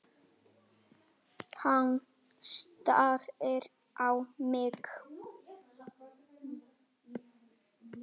Hann starir á mig.